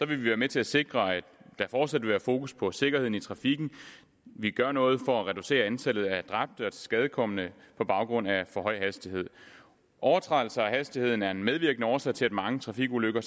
vi være med til at sikre at der fortsat vil være fokus på sikkerheden i trafikken vi gør noget for at reducere antallet af dræbte og tilskadekomne på baggrund af for høj hastighed overtrædelser af hastigheden er en medvirkende årsag til at mange trafikulykker